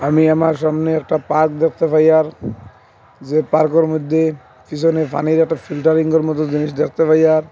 আমি আমার সামনে একটা পার্ক দেখতে পাই আর যে পার্কে র মধ্যে পিছনে পানির একটা ফিল্টারিং য়ের মতো জিনিস দেখতে পাই আর --